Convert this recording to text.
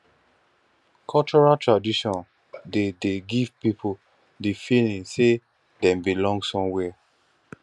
cultural traditon dey dey give pipo di feeling sey dem belong somewhere